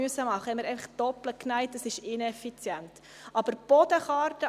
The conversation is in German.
Ich gebe nochmals dem Antragsteller, Grossrat Ruchti, das Wort.